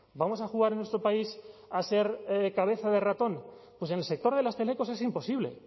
vamos a jugar en nuestro país a ser cabeza de ratón pues en el sector de las telecos es imposible